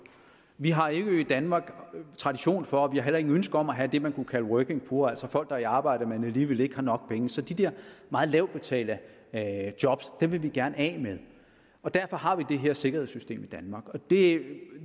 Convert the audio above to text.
vi har jo ikke i danmark tradition for og vi har heller ikke et ønske om at have det man kunne kalde working poor altså folk der er i arbejde men alligevel ikke har nok penge så de der meget lavt betalte job vil vi gerne af med og derfor har vi det her sikkerhedssystem i danmark det